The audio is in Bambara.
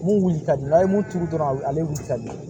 Mun wuli ka di n'a ye mun turu dɔrɔn ale wuli ka di